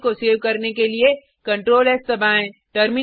file को save करने के लिए ctrls दबाएँ